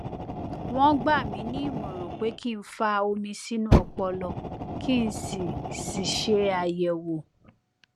wọn gbà mí nímọràn pé kí n fa omi sínú ọpọlọ kí n sì sì ṣe àyẹwò